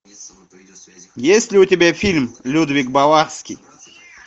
есть ли у тебя фильм людвиг баварский